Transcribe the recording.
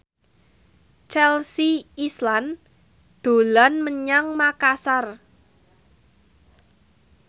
Chelsea Islan dolan menyang Makasar